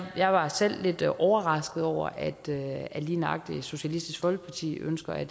jeg selv var lidt overrasket over at lige nøjagtig socialistisk folkeparti ønsker at